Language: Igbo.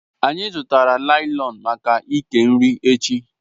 Anyị zụtara láị́lọn maka ike nri echi